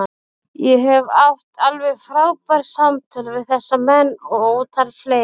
Ég hef átt alveg frábær samtöl við þessa menn og ótal fleiri.